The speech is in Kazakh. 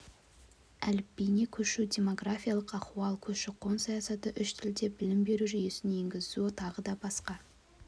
әліпбиіне көшу демографиялық ахуал көші-қон саясаты үш тілде білім беру жүйесін енгізу тағы да басқа